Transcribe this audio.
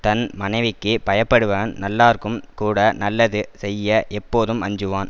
தன் மனைவிக்கு பயப்படுவன் நல்லார்க்கும் கூட நல்லது செய்ய எப்போதும் அஞ்சுவான்